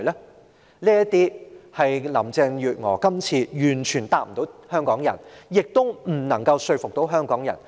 以上種種問題，林鄭月娥今次完全無法回答香港人，亦未能說服香港人。